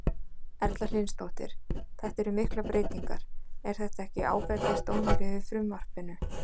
Erla Hlynsdóttir: Þetta eru miklar breytingar, er þetta ekki áfellisdómur yfir frumvarpinu?